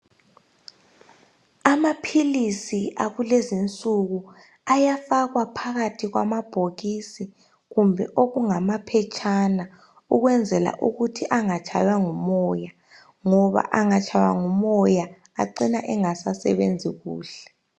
Amaphilisi akulezi insuku ayafaka phakahi kwamabhokisi kumbe okungamaphetshana ukwenzela ukuthi angatshaywa ngumoya ngoba angatshaywa ngumoya acina sengasasebenzi kuhle.